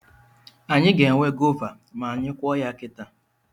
Anyị ga-enwe gova ma anyị kụọ ya kita